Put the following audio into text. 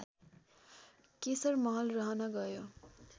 केशरमहल रहन गयो